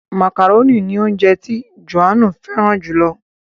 Màkàrónì ni ounjẹ ti Johannu fẹràn jù lọ.